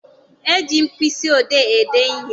E ji mkpịsị odee ede ihe.